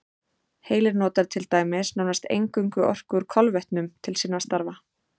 Heilinn notar til dæmis nánast eingöngu orku úr kolvetnum til sinna starfa.